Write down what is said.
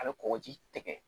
A bɛ kɔkɔji tigɛ